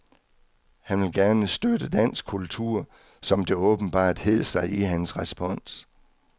Han ville gerne støtte dansk kultur, som det åbenbart hed sig i hans respons.